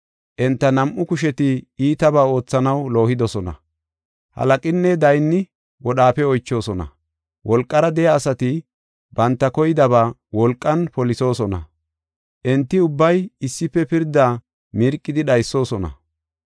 Enta nam7u kusheti iitaba oothanaw loohidosona. Halaqinne daynni wodhaafe oychoosona; wolqara de7iya asati banta koydaba wolqan polisoosona. Enti ubbay issife pirdaa mirqidi dhaysoosona.